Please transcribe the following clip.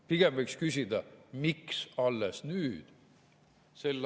Pigem võiks küsida, miks alles nüüd.